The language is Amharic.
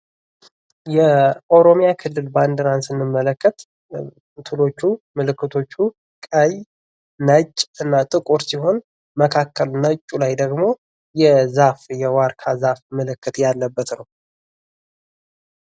የኦሮሚያ ክልል ባንዲራን ስንመለከት ምልክቶቹ ቀይ ፣ነጭና ጥቁር ሲሆን ፤ መካከል ነጩ ላይ ደግሞ የዛፍ የዋርካ ዛፍ ምልክት ያለበት ነው።